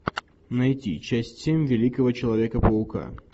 найти часть семь великого человека паука